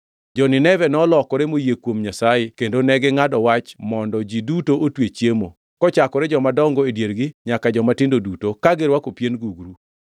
Jo-Nineve, nolokore moyie kuom Nyasaye kendo negingʼado wach mondo ji duto otwe chiemo, kochakore jomadongo e diergi nyaka jomatindo duto, ka girwako pien gugru.